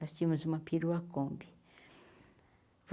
Nós tínhamos uma perua kombi.